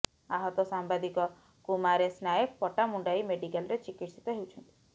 ଆହତ ସାମ୍ବାଦିକ କୁମାରେଶ ନାୟକ ପଟ୍ଟାମୁଣ୍ତାଇ ମେଡିକାଲରେ ଚିକିତ୍ସିତ ହେଉଛନ୍ତି